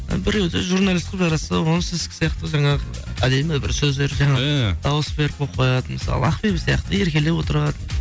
і біреуді журналист қылып жаратса ол сіздікі сияқты жаңағы әдемі бір сөздер дауыс беріп қойып қояды мысалы ақбибі сияқты еркелеп отырады